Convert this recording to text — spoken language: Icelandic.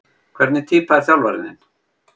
Hvernig týpa er þjálfarinn þinn?